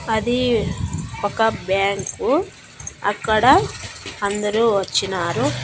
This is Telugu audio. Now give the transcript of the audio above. అది ఒక బ్యాంకు అక్కడ అందరూ వచ్చినారు.